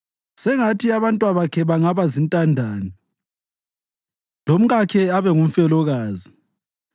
Sengathi abantwabakhe bangaba zintandane lomkakhe abe ngumfelokazi.